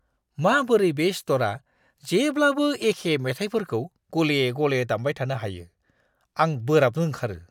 माबोरै बे स्ट'रआ जेब्लाबो एखे मेथाइफोरखौ गले-गले दामबाय थानो हायो, आं बोराबनो ओंखारो!